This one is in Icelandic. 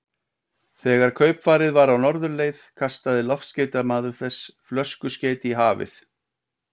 Þegar kaupfarið var á norðurleið, kastaði loftskeytamaður þess flöskuskeyti í hafið.